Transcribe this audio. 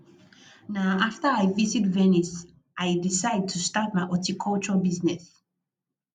na after i visit venice i decide to start my horticulture business